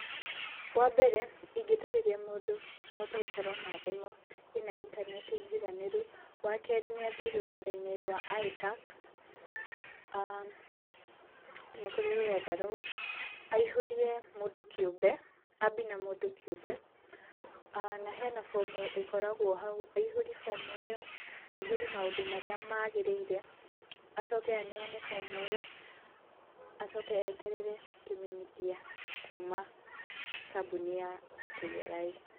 Wambere ingĩtarĩria mũndũ ahote gũkorwo na thimũ ĩna intaneti njiganĩru, wakerĩ nĩathiĩ rũrenda-inĩ rwa Itax, aah nĩkũrĩ rũrenda rũu, aihũrie mũndũ kĩũmbe, ambie na mũndũ kĩũmbe, aah na hena fomu ĩkoragwo hau aihũrie fomu ĩyo, na aihũrie maũndũ marĩa magĩrĩire acoke aneane fomu ĩyo, acoke eterere kĩmenyithia kuma kabũni ya KRA.